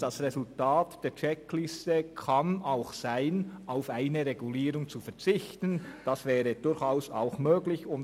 Das Resultat der Checkliste kann auch sein, auf eine Regulierung zu verzichten, was durchaus möglich wäre.